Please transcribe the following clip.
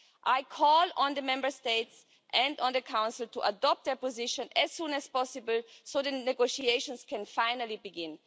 I call on the Member States and on the Council to adopt a position as soon as possible so that negotiations can finally begin.